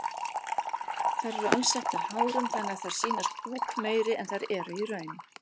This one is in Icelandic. Þær eru alsettar hárum þannig að þær sýnast búkmeiri en þær eru í raun.